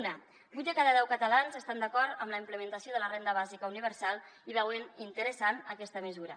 una vuit de cada deu catalans estan d’acord amb la implementació de la renda bàsica universal i veuen interessant aquesta mesura